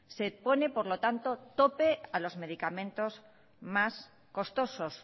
se pone por lo tanto tope a los medicamentos más costosos